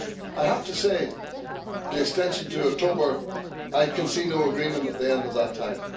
I have to say, the extension to October, I can see no agreement at the end of that time.